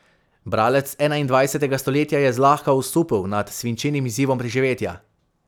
Bralec enaindvajsetega stoletja je zlahka osupel nad svinčenim izzivom preživetja.